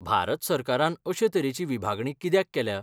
भारत सरकारान अशे तरेची विभागणी कित्याक केल्या?